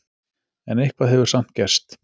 En eitthvað hefur samt gerst.